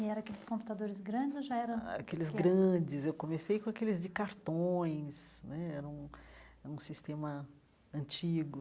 E eram aqueles computadores grandes ou já eram... Aqueles grandes, eu comecei com aqueles de cartões né, era um era um sistema antigo.